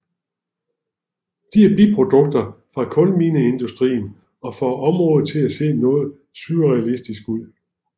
De er biprodukter fra kulmineindustrien og får området til at se noget surrealistisk ud